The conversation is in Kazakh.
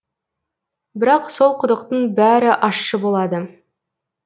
бірақ сол құдықтың бәрі ащы болады